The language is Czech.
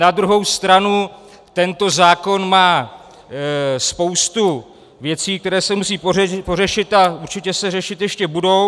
Na druhou stranu tento zákon má spoustu věcí, které se musí pořešit, a určitě se řešit ještě budou.